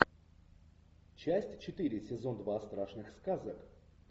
часть четыре сезон два страшных сказок